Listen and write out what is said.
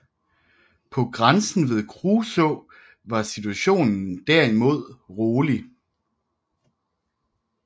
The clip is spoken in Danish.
På grænsen ved Kruså var situationen derimod rolig